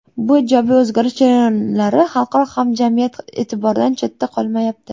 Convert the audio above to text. Bu ijobiy o‘zgarish jarayonlari xalqaro hamjamiyat e’tiboridan chetda qolmayapti.